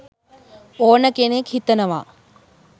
ඕන කෙනෙක් හිතනවා.